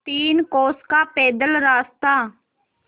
तीन कोस का पैदल रास्ता